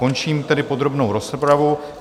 Končím tedy podrobnou rozpravu.